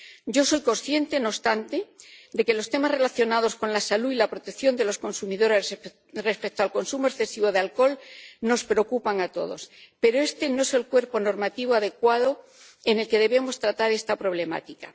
Yo soy consciente, no obstante, de que los temas relacionados con la salud y la protección de los consumidores respecto al consumo excesivo de alcohol nos preocupan a todos, pero este no es el cuerpo normativo adecuado en el que debemos tratar esta problemática.